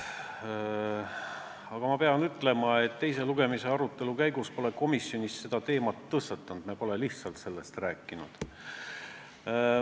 Paraku pean ütlema, et teise lugemise eelse arutelu käigus komisjonis seda teemat ei tõstatatud, me pole lihtsalt sellest rääkinud.